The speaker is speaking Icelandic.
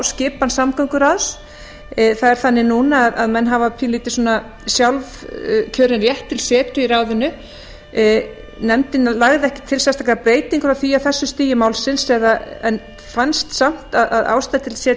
skipan samgönguráðs það er þannig núna að menn hafa pínulítið sjálfkjörinn rétt til setu í ráðinu nefndin lagði ekki til sérstaka breytingu á því á þessu stigi málsins en fannst samt ástæða